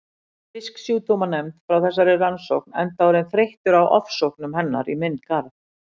Fisksjúkdómanefnd frá þessari rannsókn enda orðinn þreyttur á ofsóknum hennar í minn garð.